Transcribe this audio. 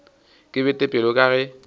ke bete pelo ka ge